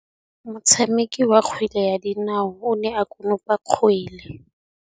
Motshameki wa kgwele ya dinaô o ne a konopa kgwele.